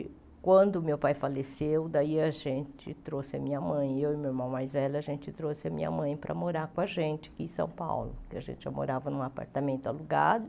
Quando meu pai faleceu, daí a gente trouxe a minha mãe, eu e meu irmão mais velho, a gente trouxe a minha mãe para morar com a gente em São Paulo, porque a gente já morava em um apartamento alugado.